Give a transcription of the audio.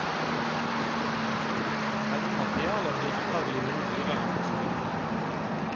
Selve materialet blir antagelig noe dyrere enn silikon.